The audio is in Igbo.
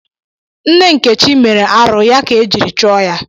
Nne nkechi mere arụ ya ka e jiri chụọ ya